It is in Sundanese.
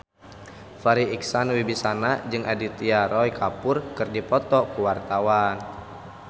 Farri Icksan Wibisana jeung Aditya Roy Kapoor keur dipoto ku wartawan